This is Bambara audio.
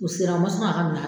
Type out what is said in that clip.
U sera u man sɔn k'a ka mina